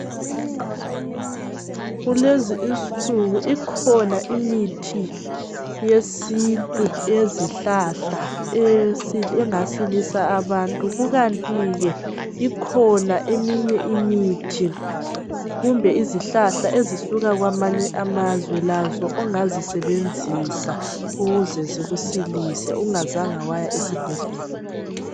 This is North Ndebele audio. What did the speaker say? Kulezi insuku ikhona imithi yesintu yezihlahla engasila abantu kukanti ke ikhona eminye imithi kumbe izihlahla ezisuka kwamanye amazwe lazo ongazisebenzisa ukuze zikusilise ungayanga esibhedlela.